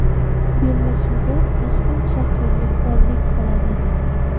Bellashuvga Toshkent shahri mezbonlik qiladi.